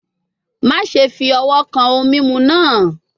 Maṣe fi ọwọ kan ohun mimu naa